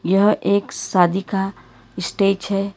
यह एक शादी का स्टेज है।